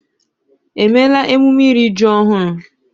Èmeéla emume iri ji ọhụrụ?